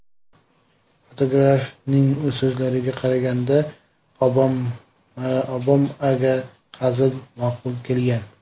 Fotografning so‘zlariga qaraganda, Obamaga hazil ma’qul kelgan.